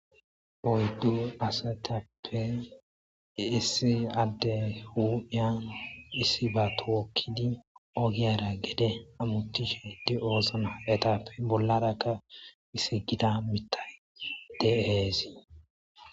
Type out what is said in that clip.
oyddu asatappe iessi adde huuddyan issi ba tookkidi ogiyara gede amutishe di7oosna etappe bollarakka isi gida mitayde heesii